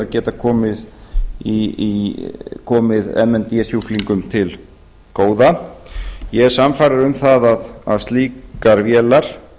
geta komið m n d sjúklingum til góða ég er sannfærður um það að slíkar vélar